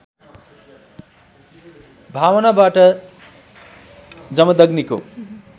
भावनाबाट जमदग्निको